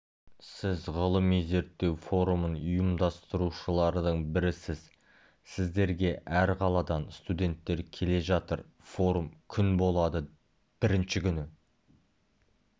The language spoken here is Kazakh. сіз ғылыми-зерттеу форумын ұйымдастырушылардың бірісіз сіздерге әр қаладан студенттер келе жатыр форум күн болады бірінші күні